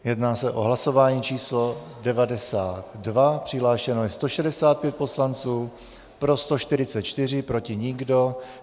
Jedná se o hlasování číslo 92, přihlášeno je 165 poslanců, pro 144, proti nikdo.